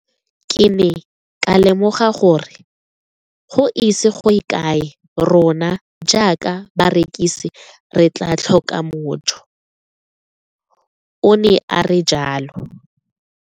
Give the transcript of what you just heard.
Ke ne ka lemoga gore go ise go ye kae rona jaaka barekise re tla tlhoka mojo, o ne a re jalo.